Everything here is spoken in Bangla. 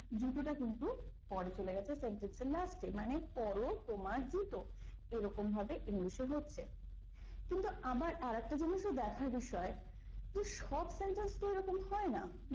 জুতোটা কিন্তু পরে চলে গেছে sentence এর last এ মানে পরও তোমার জুতো এরকম ভাবে english এ হচ্ছে কিন্তু আবার আরেকটা জিনিসও দেখার বিষয় যে সব sentence তো এরকম হয় না।